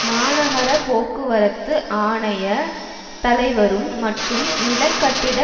மாநகர போக்குவரத்து ஆணைய தலைவரும் மற்றும் நிலகட்டிட